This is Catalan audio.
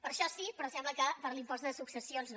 per a això sí però sembla que per a l’impost de successions no